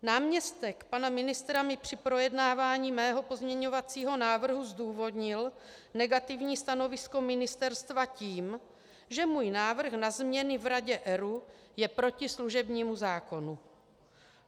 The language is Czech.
Náměstek pana ministra mi při projednávání mého pozměňovacího návrhu zdůvodnil negativní stanovisko ministerstva tím, že můj návrh na změny v Radě ERÚ je proti služebnímu zákonu.